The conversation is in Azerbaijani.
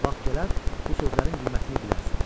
Vaxt gələr, bu sözlərin qiymətini bilərsən.